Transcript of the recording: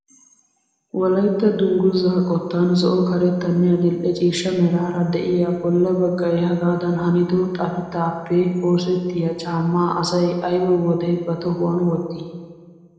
Wolaytta dunguzaa qottan zo'o karettanne adil'e ciishsha meraara de'iyaa bolla baggay hegaadan hanido xafitaappe oosettiyaa caammaa asay ayba wode ba tohuwaan wottii?